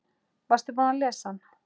Varstu búinn að lesa hann?